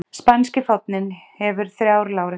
Spænski fáninn hefur þrjár láréttar rendur.